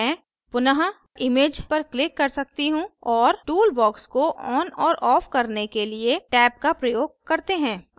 मैं पुनः image पर click कर सकती हूँ और tool box को on और off करने के लिए टैब का प्रयोग करते हैं